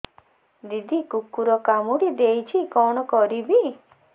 ଦିଦି କୁକୁର କାମୁଡି ଦେଇଛି କଣ କରିବି